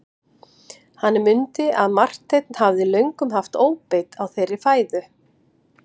Hann mundi að Marteinn hafði löngum haft óbeit á þeirri fæðu.